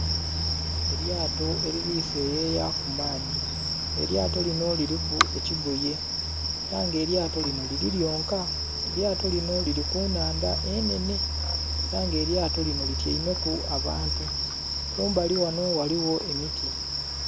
Elyato liri seyeya kumaadhi, elyato lino liriku ekigoye era nga elyato lino liri lyonka, elyato lino liri kunhandha enhenhe era nga elyato lino lityaimeku abantu, kumbali wano ghaligho emiti.